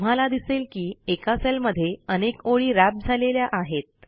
तुम्हाला दिसेल की एका सेलमध्ये अनेक ओळी व्रॅप झालेल्या आहेत